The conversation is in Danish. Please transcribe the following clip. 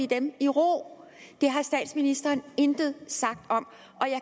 dem i ro det har statsministeren intet sagt om